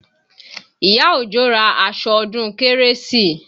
Ìyá Òjó ra aṣọ ọdún kérésì